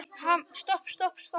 Hann mælir á alþjóða